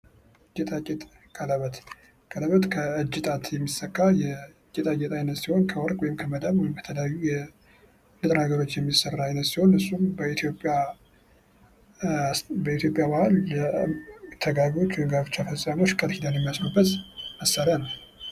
ጌጣጌጥ ቀለበት ከእጅ ጣት የሚሰካ የጌጣጌጥ አይነት ሲሆን ከወርቅ ወይም ከመዳብ በተለያዩ ንጥረ ነገሮች የሚሠራ አይነት ሲሆን እሱም በኢትዮጵያ ባህል ተጋቢዎች ቃል ኪዳን የሚያስሩበት መሣሪያ ነው።